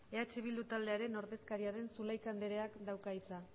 eh bildu taldearen ordezkaria den zulaika andereak dauka hitza